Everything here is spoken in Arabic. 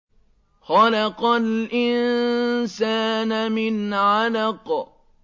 خَلَقَ الْإِنسَانَ مِنْ عَلَقٍ